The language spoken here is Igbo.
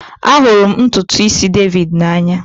Ahụrụ m ntutu isi David n'anya